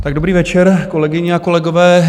Tak dobrý večer, kolegyně a kolegové.